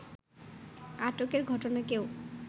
আটকের ঘটনাকেও